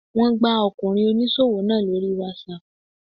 Wọ́n gbá Ọkùnrin oníṣòwò náà lóri whatsapp.